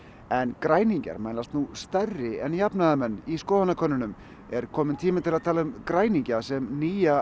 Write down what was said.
en græningjar mælast nú stærri en jafnaðarmenn í skoðanakönnunum er kominn tími til að tala um græningja sem nýja